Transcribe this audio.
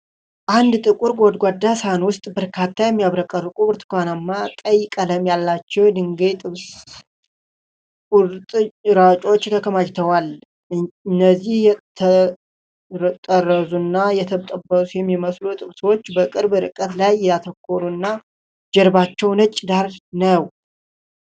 አንድ ጥቁር ጎድጓዳ ሳህን ውስጥ በርካታ የሚያብረቀርቁ፣ ብርቱካንማ-ቀይ ቀለም ያላቸው የድንች ጥብስ ቁርጥራጮች ተከማችተዋል። እነዚህ የተጠረዙና የተጠበሱ የሚመስሉ ጥብሶች በቅርብ ርቀት ላይ ያተኮሩ እና፣ ጀርባቸው ነጭ ዳራ ነው።